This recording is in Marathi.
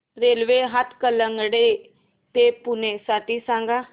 रेल्वे हातकणंगले ते पुणे साठी सांगा